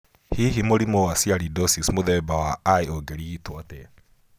Hihi mũrimũ wa sialidosis mũthemba wa I ũngĩrigitũo atĩa?